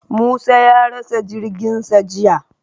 Musa ya rasa jirginsa jiya.